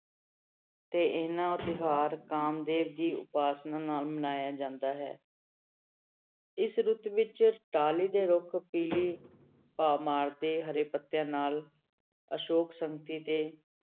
ਤੇ ਇਹਨਾਂ ਤਿਉਹਾਰ ਕਾਮਦੇਵ ਦੀ ਉਪਾਸਨਾ ਨਾਲ ਮਨਾਇਆ ਜਾਂਦਾ ਹੈ ਇਸ ਰੁੱਤ ਵਿੱਚ ਟਾਹਲੀ ਦੇ ਰੁੱਖ ਪੀਲੀ ਭਾਅ ਮਾਰਦੇ ਹਰੇ ਪੱਤਿਆਂ ਨਾਲ ਅਸ਼ੋਕ